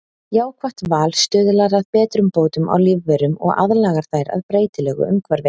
jákvætt val stuðlar að betrumbótum á lífverum og aðlagar þær að breytilegu umhverfi